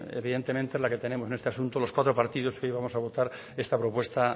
evidentemente es la que tenemos en este asunto los cuatro partidos que hoy vamos a votar esta propuesta